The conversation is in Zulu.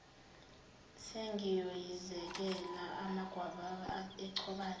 sengiyoyizekela amagwababa echobana